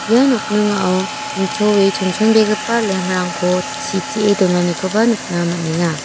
ia nokningao nitoe chonchonbegipa lamp-rangko sitee donanikoba nikna man·enga.